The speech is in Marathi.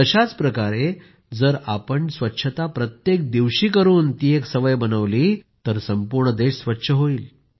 तशाच प्रकारे जर आपण स्वच्छता प्रत्येक दिवशी करून ती एक सवय बनवली तर संपूर्ण देश स्वच्छ होईल